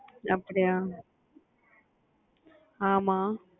அப்பிடியா ஆமா